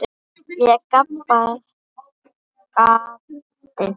Ég gapti.